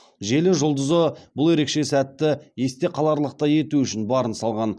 желі жұлдызы бұл ерекше сәтті естеқаларлықтай ету үшін барын салған